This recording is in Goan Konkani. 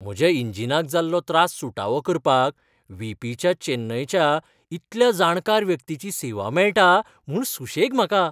म्हज्या इंजिनाक जाल्लो त्रास सुटावो करपाक व्ही. पी. ह्या चेन्नयच्या इतल्या जाणकार व्यक्तीची सेवा मेळटा म्हूण सुशेग म्हाका.